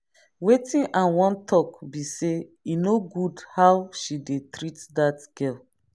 wetin i wan talk be say e no good how she dey treat that girl